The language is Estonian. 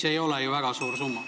See ei ole ju väga suur summa.